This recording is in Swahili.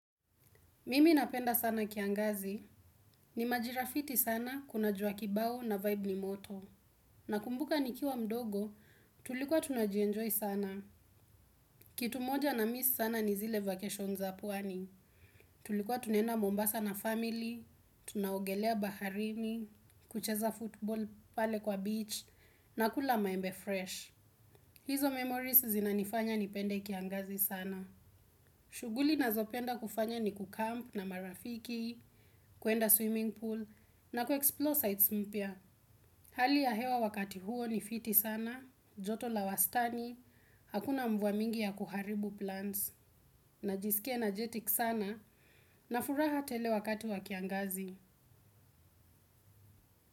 Mimi napenda sana kiangazi. Ni majira fiti sana, kuna jua kibao na vibe ni moto. Na kumbuka nikiwa mdogo, tulikuwa tunajienjoy sana. Kitu moja na miss sana ni zile vacations za pwani. Tulikuwa tunenda mombasa na family, tunaogelea baharini, kucheza football pale kwa beach, na kula maembe fresh. Hizo memories zinanifanya nipende kiangazi sana. Shughuli nazopenda kufanya ni kucamp na marafiki kuenda swimming pool na kueplore sites mpya. Hali ya hewa wakati huo ni fiti sana, joto la wastani, hakuna mvua nyingi ya kuharibu plans. Najisikia energetic sana na furaha tele wakati wa kiangazi.